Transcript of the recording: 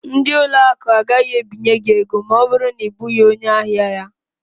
Ndị ụlọ akụ agaghị ebinye gị ego ma ọ bụrụ na ị bụghị onye ahia ha.